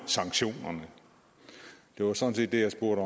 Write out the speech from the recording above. sanktionerne det var sådan set det jeg spurgte